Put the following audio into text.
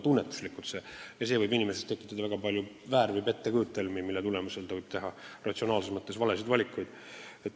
Inimestel võib olla väga palju väär- või pettekujutelmi, mille tõttu nad võivad teha ratsionaalses mõttes valesid valikuid.